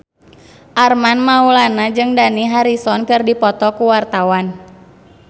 Armand Maulana jeung Dani Harrison keur dipoto ku wartawan